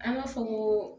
An b'a fɔ ko